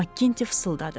Makkinte fısıldadı.